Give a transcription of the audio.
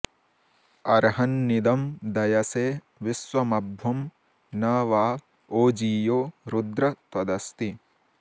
अर्ह॑न्नि॒दं द॑यसे॒ विश्व॒मभ्वं॒ न वा ओजी॑यो रुद्र॒ त्वद॑स्ति